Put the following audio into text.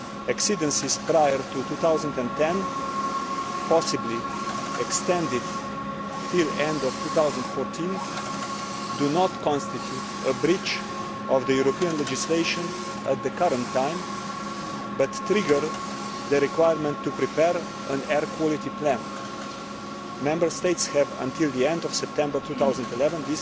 Exceedances prior to 2010, possibly extended to the end of 2014, do not constitute a breach of European legislation at the current time but trigger the requirement to prepare an air quality plan. Member States have until the end of September 2011